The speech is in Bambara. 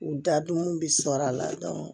U dadumanw bɛ sɔrɔ a la